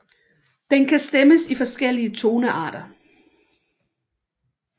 Den kan stemmes i forskellige tonearter